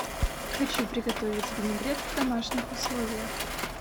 хочу приготовить винегрет в домашних условиях